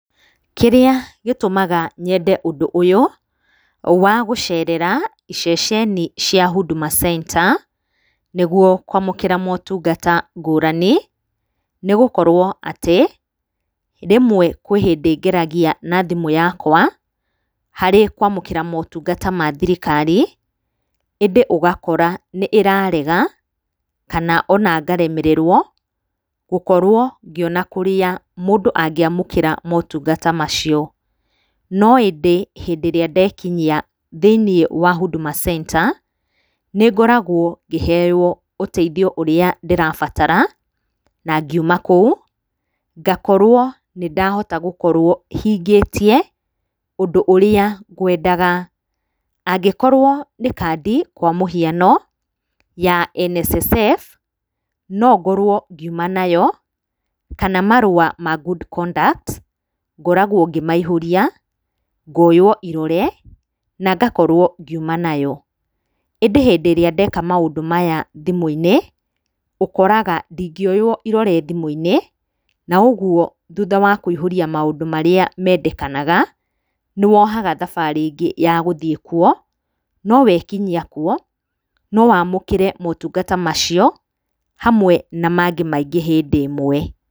Kĩrĩa gĩtũmaga nyende ũndũ ũyũ, wa gũcerera iceceni cia Huduma Center, nĩguo kwamũkĩra motungata ngũrani. Nĩgũkorwo atĩ, rĩmwe kũrĩ hĩndĩ ngeragia na thimũ yakwa, harĩ kwamũkĩra motungata mathirikari, ĩndĩ ũgakora nĩĩrarega. Kana ona ngaremererwo, gũkorwo ngĩona kũrĩa mũndũ angĩamũkĩra motungata macio. No ĩndĩ hĩndĩ ĩrĩa ndekinyia thĩinĩ wa Huduma Center, nĩngoragwo ngĩheywo ũteithio ũrĩa ndĩrabatara, na ngiuma kũu, ngakorwo nĩndahota gũkorwo hingĩtie ũndũ ũrĩa ngwendaga. Angĩkorwo nĩ kandi kwa mũhano, ya NSSF, no ngorwo ngiuma nayo kana marũa ma good conduct ngoragwo ngĩmaihũria, ngoywo irore, na ngakorwo ngiuma nayo. ĩndĩ hĩndĩ ĩrĩa ndeka maũndũ maya thimũ-inĩ, ũkoraga ndingĩoywo irore thimũ-inĩ. Na ũguo thutha wa kũihũria maũndũ marĩa mendekanaga, nĩwohaga thabarĩ ĩngĩ ya gũthiĩ kuo, no wekinyia kuo, no wamũkĩre motungata macio, hamwe na mangĩ maingĩ hĩndĩ ĩmwe.